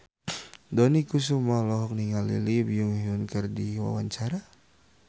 Dony Kesuma olohok ningali Lee Byung Hun keur diwawancara